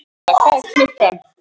Agatha, hvað er klukkan?